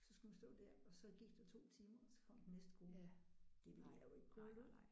Så skulle man stå der og så gik der 2 timer og så kom den næste gruppe. Det ville jeg jo ikke kunne holde ud